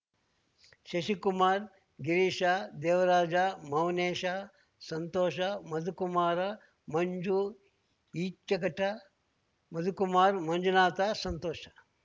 Shashikumar Girisha Devaraja Mounesha Santhosha Madhukumara Manju Echaghatta Madhukumar Manjunatha Santhosh